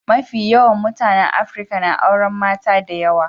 Mafi yawan mutanen Afrika na auren mata da yawa.